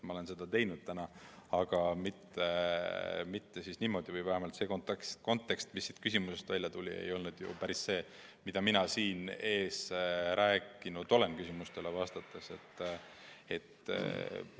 Ma olen seda täna teinud, aga mitte niimoodi, või vähemalt see kontekst, mis sellest küsimusest välja tuli, ei olnud päris see, mida mina siin küsimustele vastates rääkinud olen.